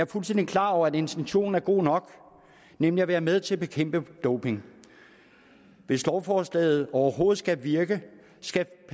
fuldstændig klar over at intentionen er god nok nemlig at være med til at bekæmpe doping hvis lovforslaget overhovedet skal virke skal